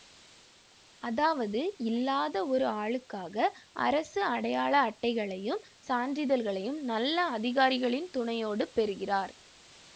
அதாவது இல்லாத ஒரு ஆளுக்காக அரசு அடையாள அட்டைகளையும் சான்றிதழ்களையும் நல்ல அதிகாரிகளின் துணையோடு பெறுகிறார்